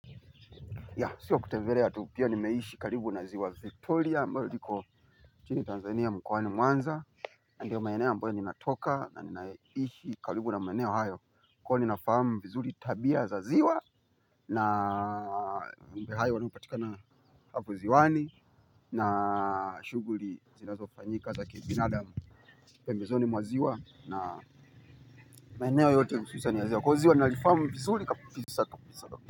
Ya, sio kutembelea tu pia ni mmeishi karibu na ziwa Victoria, ambalo liko chini Tanzania mkoani mwanza. Ndiyo maeneo ambayo ninatoka na ninaishi karibu na maeneo hayo. Kwa hiyo ninafamu vizuri tabia za ziwa na mambo hayo hupatikana hapo ziwani na shuguli zinazofanyika za kibinadamu pembezoni mwa ziwa na maeneo yote hususan ya ziwa. Kwa hiyo hili ziwa ninalifahamu vizuri kabisa kabisa.